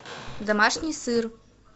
домашний сыр